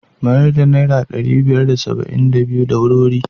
Mayar da naira ɗari biyar da saba'in da biyu. da wuri-wuri.